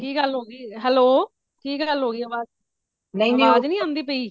ਕੀ ਗੱਲ ਹੋ ਗਯੀ hello ਕੀ ਗੱਲ ਹੋ ਗਯੀ ਹਾਂਜੀ ਕਿ ਗੱਲ ਆਵਾਜ ਨਹੀਂ ਆਂਦੀ ਪਈ